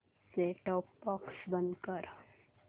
set top box बंद कर